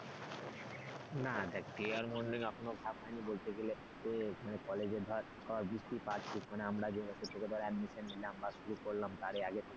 না দেখ day আর morning এখনো ভাগ হয়নি বলতে গেলে মানে college ধর বুঝতেই পারছিস মানে আমরা যে তার admission নিলাম শুরু করলাম তার আগে,